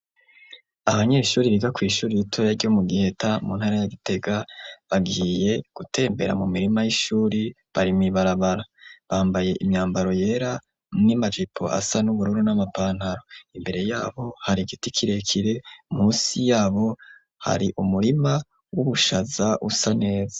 Abanyeshure biga kw'ishure ritoya ryo mu Giheta mu ntara ya Gitega bagiye gutembera mu mirima y'ishure bari mw'ibarabara bambaye imyambaro yera n'imajipo asa n'ubururu n'amapantaro imbere yabo hari igiti kirekire musi yabo hari umurima w'ubushaza usa neza.